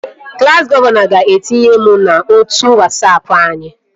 Klassi gọvanọ ga-etinye m n'otu Wasapụ anyị